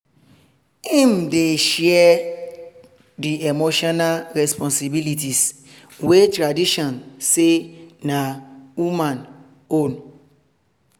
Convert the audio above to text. him dey share the emotional respponsibilities wey traditiojn say na woman own